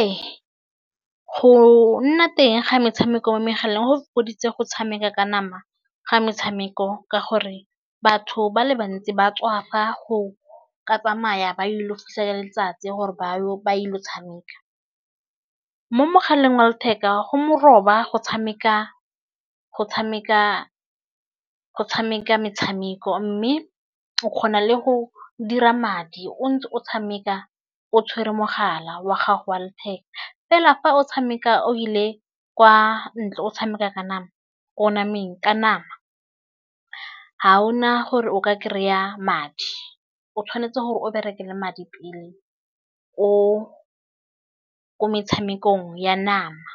Ee go nna teng ga metshameko mo megaleng go fokoditse go tshameka ka nama ga metshameko ka gore batho ba le bantsi ba tswafa go ka tsamaya ba ile go fisa ke letsatsi gore ba yo ba ile go tshameka. Mo mogaleng wa letheka go moroba go tshameka metshameko mme o kgona le go dira madi o ntse o tshameka o tshwere mogala wa gago wa letheka fela fa o tshameka o ile kwa ntle o tshameka ka nama ko nameng ka nama ga o na gore o ka kry-a madi o tshwanetse gore o berekele madi pele ko metshamekong ya nama.